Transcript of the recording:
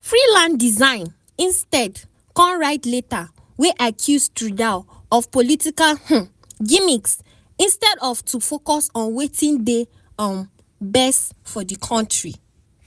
freeland resign instead kon write letter wey accuse trudeau of "political um gimmicks" instead of to focus on wetin dey um best for di kontri.